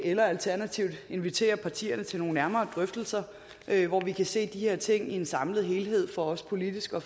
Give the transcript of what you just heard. eller alternativt inviterer partierne til nogle nærmere drøftelser hvor vi kan se de her ting i en samlet helhed for også politisk at